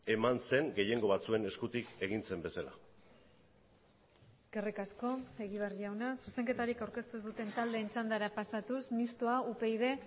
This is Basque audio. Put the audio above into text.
eman zen gehiengo batzuen eskutik egin zen bezala eskerrik asko egibar jauna zuzenketarik aurkeztu ez duten taldeen txandara pasatuz mistoa upyd